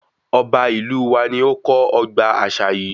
Ọba ìlú wa ní ó kọ́ ọgbà àṣà yìí